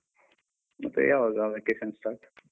ಮತ್ತೆ ಯಾವಾಗ vacation start ?